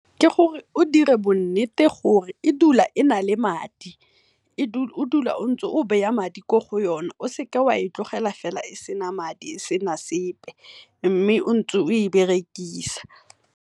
Ke gore o dire bo nnete gore e dula e na le madi, o dule ntse o madi ko go yone, o seka o a e tlogela e sena madi e sena sepe mme ntse o e berekisa.